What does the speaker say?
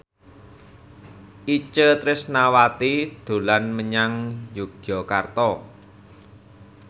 Itje Tresnawati dolan menyang Yogyakarta